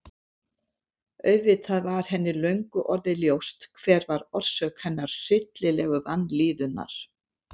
Auðvitað var henni löngu orðið ljóst hver var orsök hennar hryllilegu vanlíðunar.